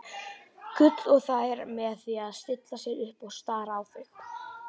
Gulla og þær með því að stilla sér upp og stara á þau.